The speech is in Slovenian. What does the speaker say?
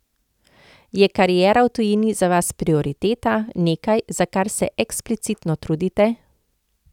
Je kariera v tujini za vas prioriteta, nekaj, za kar se eksplicitno trudite?